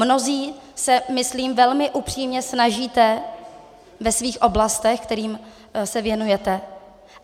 Mnozí se, myslím, velmi upřímně snažíte ve svých oblastech, kterým se věnujete.